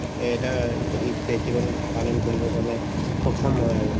এটা ঈদ festival পালন কৰিবৰ কাৰণে সক্ষম হয় আৰু